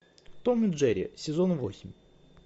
том и джерри сезон восемь